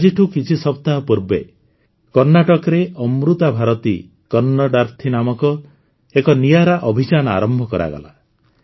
ଆଜିଠୁ କିଛି ସପ୍ତାହ ପୂର୍ବେ କର୍ଣ୍ଣାଟକରେ ଅମୃତା ଭାରତୀ କନ୍ନଡ଼ାର୍ଥୀ ନାମକ ଏକ ନିଆରା ଅଭିଯାନ ଆରମ୍ଭ କରାଗଲା